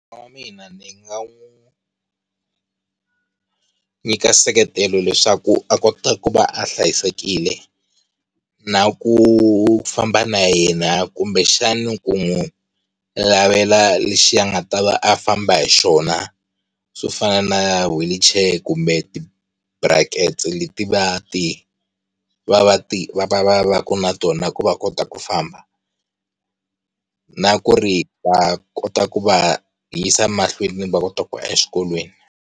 Munghana wa mina ni nga n'wi nyika seketelo leswaku a kota ku va a hlayisekile na ku famba na yena kumbexani ku n'wi lavela lexi a nga ta va a famba hi xona, swo fana na wheelchair kumbe ti-brackets leti va ti va ti va, va vaka na tona, ku va kota ku famba na ku ri va kota ku va yisa emahlweni va kota ku exikolweni.